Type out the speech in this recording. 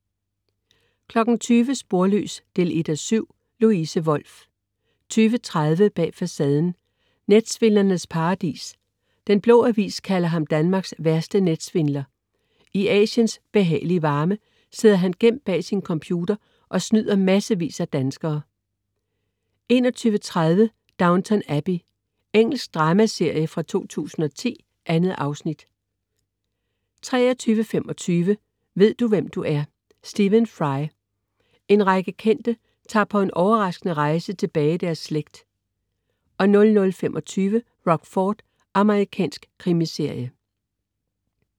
20.00 Sporløs 1:7. Louise Wolff 20.30 Bag Facaden: Netsvindlernes paradis. Den Blå Avis kalder ham Danmarks værste netsvindler. I Asiens behagelige varme sidder han gemt bag sin computer og snyder massevis af danskere 21.30 Downton Abbey. Engelsk dramaserie fra 2010. 2 afsnit 23.25 Ved du hvem du er? Stephen Fry. En række kendte tager på en overraskende rejse tilbage i deres slægt 00.25 Rockford. Amerikansk krimiserie